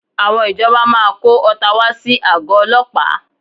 Àwọn ìjọba máa kó ọta wá sí àgọ́ ọlọ́pàá